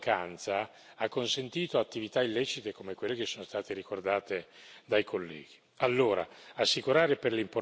Il secondo è che questa mancanza ha consentito attività illecite come quelle che sono state ricordate dai colleghi.